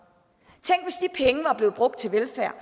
tænk var blevet brugt til velfærd